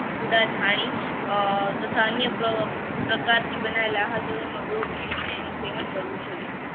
ઉડાથાણી તથા અન્ય પ્રકારથી બનાવેલા મેળવીને સેવા કરવું જોઈએ